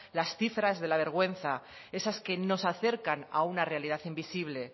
las cifras de la vergüenza esas que nos acercan a una realidad invisible